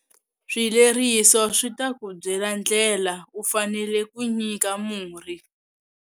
Swileriso swi ta ku byela ndlela u faneleke ku nyika murhi.